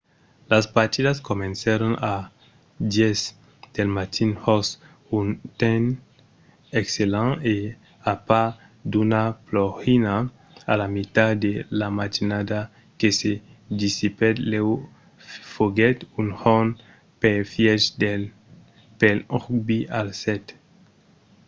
las partidas comencèron a 10:00 del matin jos un temps excellent e a part d'una plogina a la mitat de la matinada que se dissipèt lèu foguèt un jorn perfièch pel rugbi a sèt